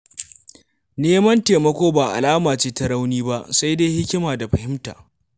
Neman taimako ba alama ce ta rauni ba, sai dai hikima da fahimta.